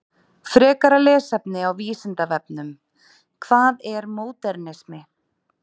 Frekara lesefni á Vísindavefnum: Hvað er módernismi?